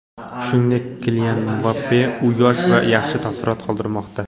Shuningdek, Kilian Mbappe, u yosh va yaxshi taassurot qoldirmoqda.